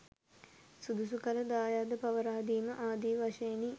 සුදුසු කල දායාද පවරාදීම ආදි වශයෙනි.